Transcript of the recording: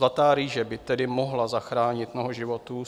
Zlatá rýže by tedy mohla zachránit mnoho životů.